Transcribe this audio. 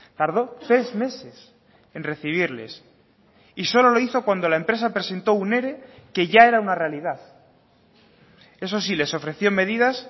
tardó tres meses en recibirles y solo lo hizo cuando la empresa presentó un ere que ya era una realidad eso sí les ofreció medidas